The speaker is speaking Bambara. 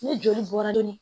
Ni joli bɔra dunni